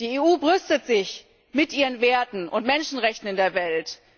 Die EU brüstet sich mit ihren Werten und Menschenrechten in der Welt.